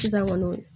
Sisan kɔni